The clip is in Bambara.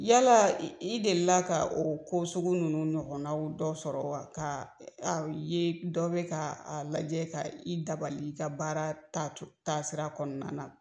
Yala i deli la ka o ko sugu nunnu ɲɔgɔnna dɔ sɔrɔ wa, ka ye dɔ bɛ ka lajɛ ka i dabali i ka baara ta tasira kɔnɔna na?